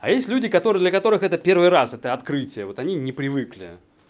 а есть люди которые для которых это первый раз это открытие вот они не привыкли